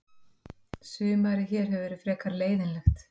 Sumarið hér hefur verið frekar leiðinlegt.